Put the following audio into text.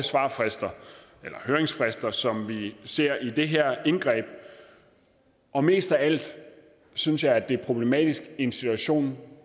høringsfrister som vi ser i forbindelse med det her indgreb og mest af alt synes jeg det er problematisk i en situation